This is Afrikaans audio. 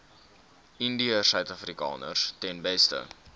indiërsuidafrikaners ten beste